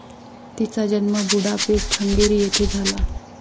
तिचा जन्म Budapest, Hungary येथे झाला.